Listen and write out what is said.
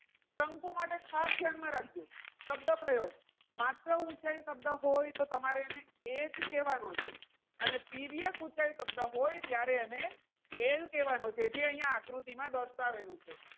શંકુ માટે ખાસ ધ્યાનમાં રાખજો શબ્દ પ્રયોગ માત્ર ઊંચાઈ શબ્દ હોય તો તમારે અને એ જ કહેવાનો છે. અને તિર્યક ઊંચાઈ શબ્દ હોય ત્યારે L કહેવાનું છે જે અહીંયા આકૃતિમાં દર્શાવેલું છે.